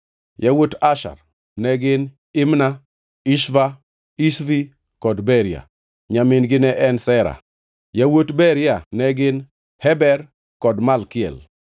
Yawuot Asher ne gin: Imna, Ishva, Ishvi kod Beria. Nyamin-gi ne en Sera. Yawuot Beria ne gin: Heber kod Malkiel.